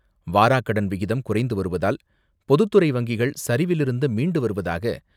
வாராக்கடன் விகிதம் குறைந்து வருவதால் பொதுத்துறை வங்கிகள் சரிவிலிருந்து மீண்டு வருவதாக